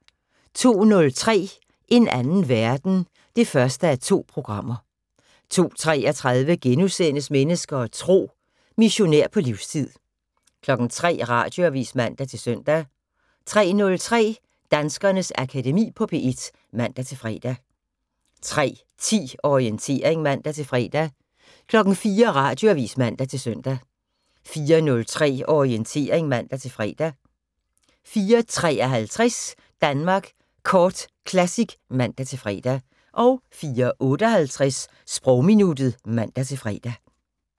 02:03: En anden verden 1:2 02:33: Mennesker og Tro: Missionær på livstid * 03:00: Radioavis (man-søn) 03:03: Danskernes Akademi på P1 (man-fre) 03:10: Orientering (man-fre) 04:00: Radioavis (man-søn) 04:03: Orientering (man-fre) 04:53: Danmark Kort Classic (man-fre) 04:58: Sprogminuttet (man-fre)